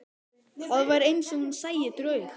Það var eins og hún sæi draug.